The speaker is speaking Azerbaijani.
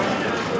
Ailəmiz.